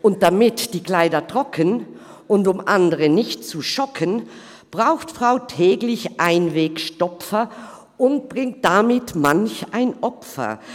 Und damit die Kleider trocken, und um andere nicht zu schocken, braucht Frau täglich Einwegstopfer und bringt damit manch ein Opfer.